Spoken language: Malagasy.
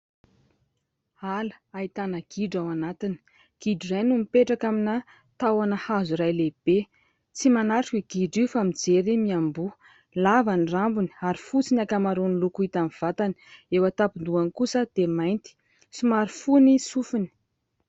Ala ahitana gidro ao anatiny. Gidro no mipetraka amina tahona hazo iray lehibe. Tsy manatrika io gidro io fa mijery miamboho. Lava ny rambony ary fotsy ny ankamaroan'ny loko hita amin'ny vatany. Eo an-tampon-dohany kosa dia mainty. Somary fohy ny sofiny.